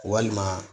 Walima